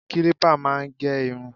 Kílípà máa ń gé irun.